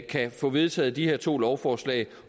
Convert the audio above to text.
kan få vedtaget de her to lovforslag